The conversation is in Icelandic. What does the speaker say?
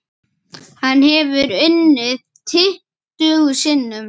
Hann hefur unnið tuttugu sinnum.